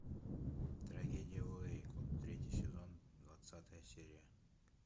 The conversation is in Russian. трагедия в уэйко третий сезон двадцатая серия